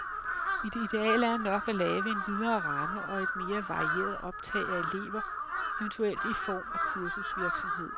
Mit ideal er nok at lave en videre ramme og et mere varieret optag af elever, eventuelt i form af kursusvirksomhed.